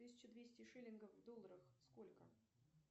тысяча двести шиллингов в долларах сколько